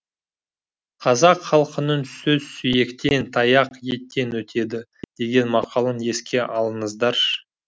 қазақ халқының сөз сүйектен таяқ еттен өтеді деген мақалын еске алыңыздаршы